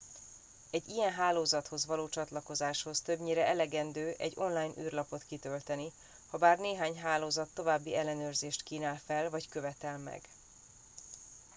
egy ilyen hálózathoz való csatlakozáshoz többnyire elegendő egy online űrlapot kitölteni habár néhány hálózat további ellenőrzést kínál fel vagy követel meg